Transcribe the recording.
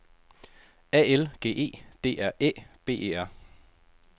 A L G E D R Æ B E R